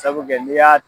Sabu kɛ n'i y'a